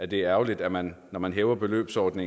det er ærgerligt at man når man hæver beløbsgrænsen